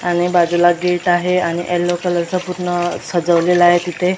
आणि बाजूला गेट आहे आणि येलो कलर चा पूर्ण सजवलेला आहे तिथे.